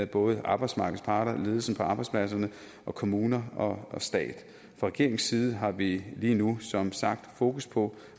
både arbejdsmarkedets parter ledelsen på arbejdspladserne og kommuner og stat fra regeringens side har vi lige nu som sagt fokus på